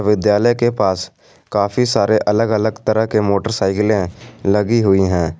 विद्यालय के पास काफी सारे अलग अलग तरह के मोटर साइकिलें लगी हुई हैं।